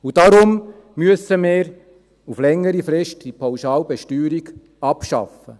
Deshalb müssen wir diese Pauschalbesteuerung längerfristig abschaffen.